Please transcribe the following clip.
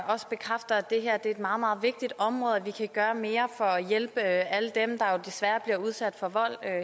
også bekræfter at det her er et meget meget vigtigt område og at vi kan gøre mere for at hjælpe alle dem der jo desværre bliver udsat for vold